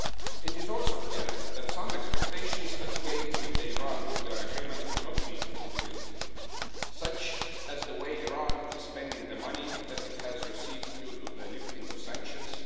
It is also clear that some expectations that came with the Iran nuclear agreement have not been fulfilled, such as the way Iran is spending the money that it has received due to the lifting of sanctions.